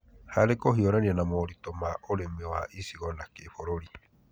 Harĩ kũhiũrania na moritũ ma ũrĩmi wa icigo na kĩbũrũri,